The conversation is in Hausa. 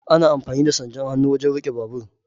Ana amfani da sandar hannu wajen riƙe babur.